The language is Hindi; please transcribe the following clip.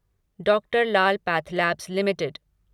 doctor Lal pathlabs limited